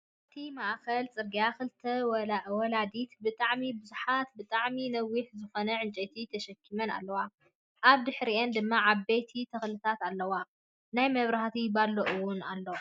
ኣብቲ ማእከል ፅርግያ ክልተ ወላዲት ብጣዐሚ ብዙሕን ብጣዕሚ ነዊሕ ዝኮነ ዕንጨይቲ ተሸኪመን ኣለዋ። ኣብ ድሕርይኤን ድማ ዓበይቲ ተክልታት ኣለው ናየ ምብራህቱ ባሎ እውን ኣሎ።